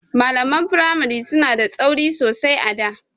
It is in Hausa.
Malaman firamari suna da tsauri sosai a da.